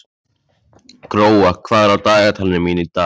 Gróa, hvað er á dagatalinu mínu í dag?